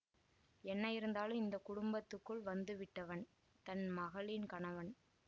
என்ன இருந்தாலும் இந்த குடும்பத்துக்குள் வந்து விட்டவன் தன் மகளின் கணவன்